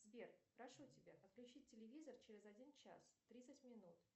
сбер прошу тебя отключить телевизор через один час тридцать минут